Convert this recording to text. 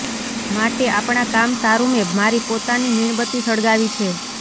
માટે આપણા કામ સારું મેં મારી પોતાની મીણબત્તી સળગાવી છે